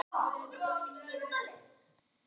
Sjúkraflug langt út í haf